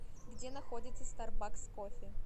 где находится старбакс кофе